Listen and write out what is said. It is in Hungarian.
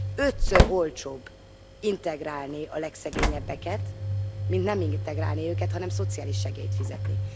Ötször olcsóbb integrálni a legszegényebbeket, mint nem integrálni őket, hanem szociális segélyt fizetni.